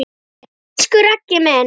Elsku Raggi minn!